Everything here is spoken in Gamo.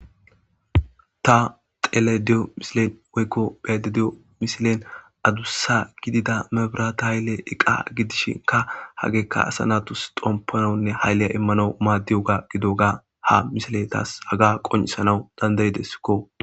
ta xelediyo misilen woykko be'adiyo misilen aduussa gidida mebrata haylle eqqa gidishinka hageekka asa natus xompanonne hayleya immano maaddiyoga gidoga ha misile taas haga qonicisnawu dandayideskko